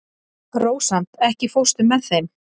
Rósant, ekki fórstu með þeim?